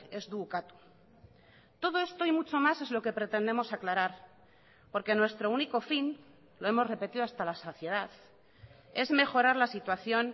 ez du ukatu todo esto y mucho más es lo que pretendemos aclarar porque nuestro único fin lo hemos repetido hasta la saciedad es mejorar la situación